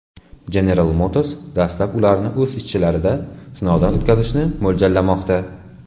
General Motors dastlab ularni o‘z ishchilarida sinovdan o‘tkazishni mo‘ljallamoqda.